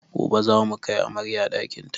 Gobe zamu kai amaryar ɗakin ta